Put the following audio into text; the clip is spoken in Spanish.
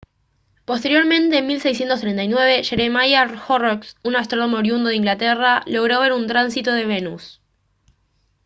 posteriormente en 1639 jeremiah horrocks un astrónomo oriundo de inglaterra logró ver un tránsito de venus